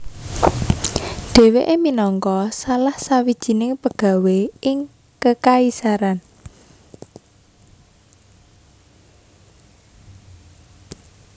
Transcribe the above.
Dheweke minangka salah sawijining pegawé ing kekaisaran